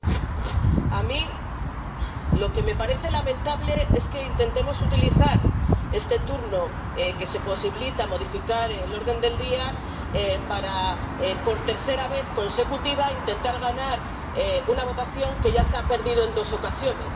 Señor presidente, a mí lo que me parece lamentable es que intentemos utilizar este turno, que posibilita modificar el orden del día, para, por tercera vez consecutiva, intentar ganar una votación que ya se ha perdido en dos ocasiones.